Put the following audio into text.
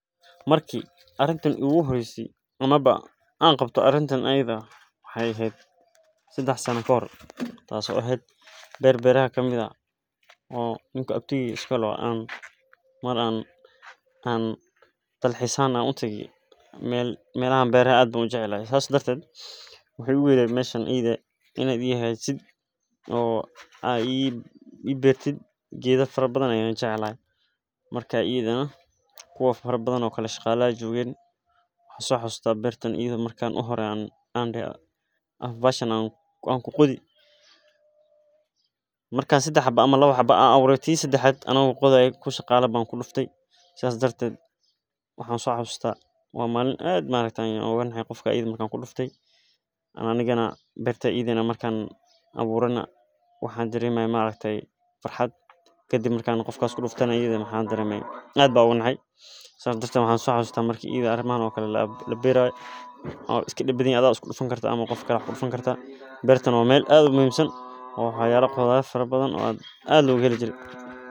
Marki arintan arin waxaa waye waa shirkad weyn waye hilibkan nafkan gaari weyn waa tarakta beeraha loo isticmaalo cunooyinka ufican tahay wadnaha iyo kansarka qaarkood masdulaagi waxeey leeyihiin faidoyin fara badan ayaa laga helaa hilib mida kowaad waa daqtarka dadka sacideyni haayo midka labaad waxaa waye sida wax loo baro sida cashirada looga qarisado.